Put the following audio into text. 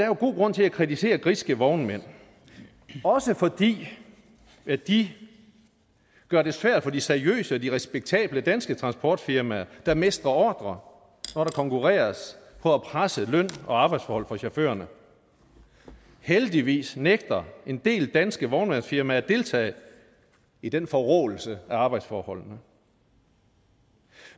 er god grund til at kritisere griske vognmænd også fordi de gør det svært for de seriøse og de respektable danske transportfirmaer der mister ordrer når der konkurreres på at presse løn og arbejdsforhold for chaufførerne heldigvis nægter en del danske vognmandsfirmaer at deltage i den forråelse af arbejdsforholdene